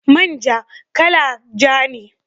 Man ja, kala ja ne